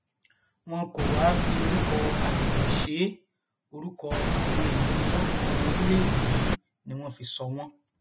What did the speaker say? wọn kò wáá fi orúkọ agbègbè ṣe é orúkọ àwọn èèyàn ńlá ọmọ orílẹèdè yìí ni wọn fi sọ wọn